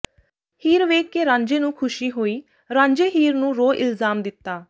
ਹੀਰ ਵੇਖ ਕੇ ਰਾਂਝੇ ਨੂੰ ਖ਼ੁਸ਼ੀ ਹੋਈ ਰਾਂਝੇ ਹੀਰ ਨੂੰ ਰੋ ਇਲਜ਼ਾਮ ਦਿੱਤਾ